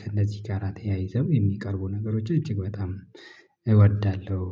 ከእነዚህ ጋር ተያይዘው የሚቀርቡ ነገሮች እጅግ በጣም እወዳለሁ